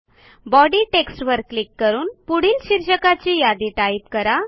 body टेक्स्टवर click करून पुढील शीर्षकांची यादी टाईप करा